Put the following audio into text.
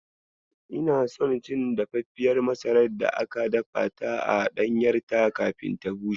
Ina son cin dafaffiyar masarar da aka dafa ta a ɗanyarta kafin ta bushe.